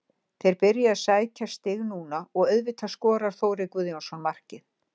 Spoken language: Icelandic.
Þeir byrja að sækja stig núna og auðvitað skorar Þórir Guðjónsson markið.